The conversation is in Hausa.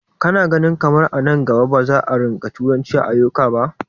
Ka na ganin kamar a nan gaba ba za a rinƙa turanci a ƙauyuka ba?